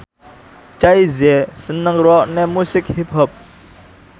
Jay Z seneng ngrungokne musik hip hop